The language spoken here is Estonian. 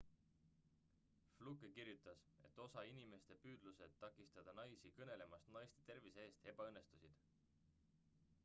fluke kirjutas et osa inimeste püüdlused takistada naisi kõnelemast naiste tervise eest ebaõnnestusid